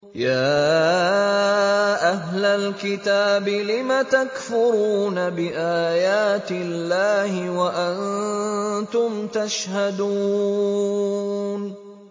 يَا أَهْلَ الْكِتَابِ لِمَ تَكْفُرُونَ بِآيَاتِ اللَّهِ وَأَنتُمْ تَشْهَدُونَ